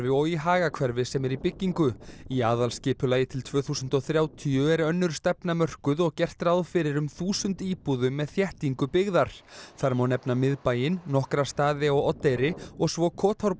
og í Hagahverfi sem er í byggingu í aðalskipulagi til tvö þúsund og þrjátíu er önnur stefna mörkuð og gert ráð fyrir um þúsund íbúðum með þéttingu byggðar þar má nefna miðbæinn nokkra staði á Oddeyri og svo